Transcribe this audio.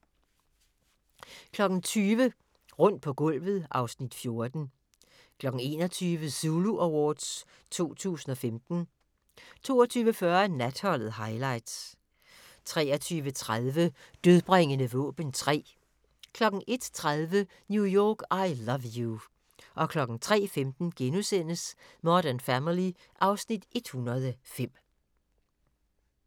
20:00: Rundt på gulvet (Afs. 14) 21:00: Zulu Awards 2015 22:40: Natholdet – Highlights 23:30: Dødbringende våben 3 01:30: New York, I Love You 03:15: Modern Family (Afs. 105)*